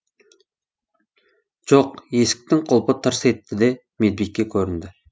жоқ есіктің құлпы тырс етті де медбике көрінді